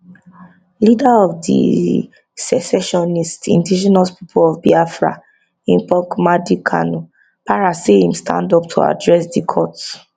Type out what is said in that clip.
leader of di secessionist indigenous people of biafra ipob nnamdi kanu para as im stand up to address di court